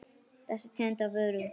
Þessa tegund af vöru.